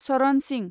Charan Singh